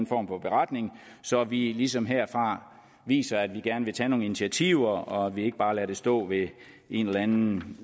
form for beretning så vi ligesom herfra viser at vi gerne vil tage nogle initiativer og at vi ikke bare lader det stå ved en eller anden